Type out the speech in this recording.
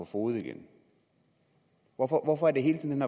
fode igen hvorfor er det hele tiden